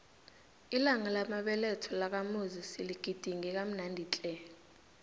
ilanga lamabeletho lakamuzi siligidinge kamnandi tle